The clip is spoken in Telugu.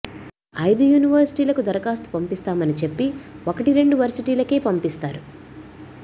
ఐదు యూనివర్సిటీలకు దరఖాస్తు పంపిస్తామని చెప్పి ఒకటి రెండు వర్సిటీలకే పంపిస్తారు